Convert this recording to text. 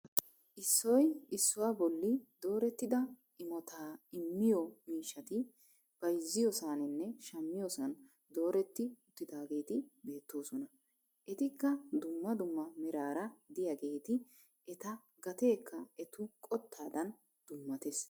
Issoy issuwaa boolli doorettida imottaa immiyoo miishshati bayzziyoosaninne shammiyoosan dooretti uttidaageti beettoosona. etikka dumma dumma meraara de'iyaageti eta gateekka etu qottaadan dummattees.